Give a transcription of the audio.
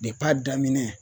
Dep'a daminɛ